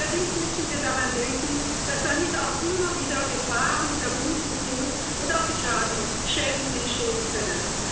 Allerdings müssen wir daran denken, dass damit auch immer wieder Gefahren verbunden sind und auch Schäden entstehen können.